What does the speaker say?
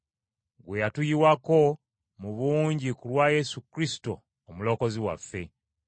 gwe yatuyiwako mu bungi ku lwa Yesu Kristo Omulokozi waffe.